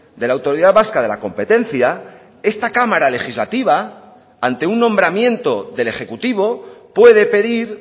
de la autoridad vasca de la competencia esta cámara legislativa ante un nombramiento del ejecutivo puede pedir